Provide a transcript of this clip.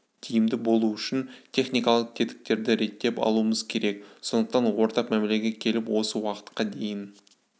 тиімді болу үшін техникалық тетіктерді реттеп алуымыз керек сондықтан ортақ мәмлеге келіп осы уақытқа дейін